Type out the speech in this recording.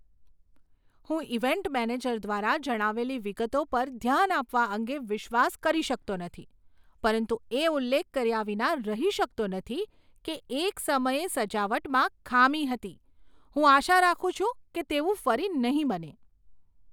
હું event manager દ્વારા જણાવેલી વિગતો પર ધ્યાન આપવા અંગે વિશ્વાસ કરી શકતો નથી, પરંતુ એ ઉલ્લેખ કર્યાં વિના રહી શકતો નથી કે એક સમયે સજાવટમાં ખામી હતી. હું આશા રાખું છું કે તેવું ફરી નહીં બને.